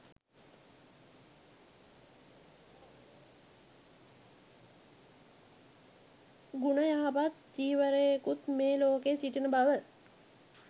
ගුණ යහපත් වීරවරයෙකුත් මේ ලෝකයේ සිටින බව.